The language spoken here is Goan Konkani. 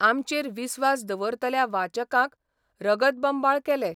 आमचेर विस्वास दवरतल्या वाचकांक रगतबंबाळ केले.